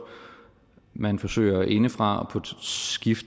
man forsøger indefra